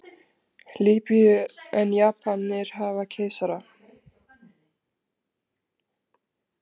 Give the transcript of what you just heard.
Lýbíu en Japanir hafa keisara.